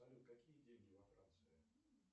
салют какие деньги во франции